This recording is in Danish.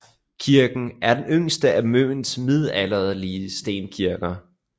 Kirken er den yngste af Møns middelalderlige stenkirker